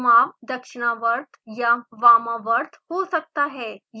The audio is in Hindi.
घुमाव दक्षिणावर्त या वामावर्त हो सकता है